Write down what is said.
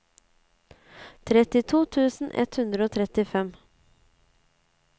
trettito tusen ett hundre og trettifem